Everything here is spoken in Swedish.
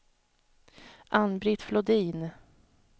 Ann-Britt Flodin